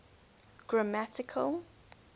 grammatical